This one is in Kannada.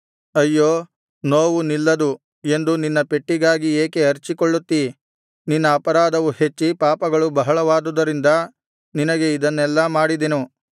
ಅಯ್ಯೋ ನೋವು ನಿಲ್ಲದು ಎಂದು ನಿನ್ನ ಪೆಟ್ಟಿಗಾಗಿ ಏಕೆ ಅರಚಿಕೊಳ್ಳುತ್ತೀ ನಿನ್ನ ಅಪರಾಧವು ಹೆಚ್ಚಿ ಪಾಪಗಳು ಬಹಳವಾದುದರಿಂದ ನಿನಗೆ ಇದನ್ನೆಲ್ಲಾ ಮಾಡಿದೆನು